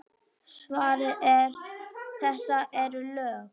Svarið er: þetta eru lög!